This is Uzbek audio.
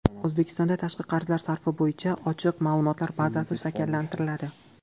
O‘zbekistonda tashqi qarzlar sarfi bo‘yicha ochiq ma’lumotlar bazasi shakllantiriladi.